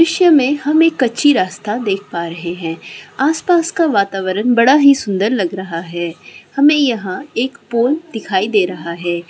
दृश्य में हम एक कच्ची रास्ता देख पा रहे है आस-पास का वातावरण बड़ा ही सुंदर लग रहा है हमें यहाँ एक पोल दिखाई दे रहा है।